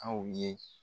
Aw ye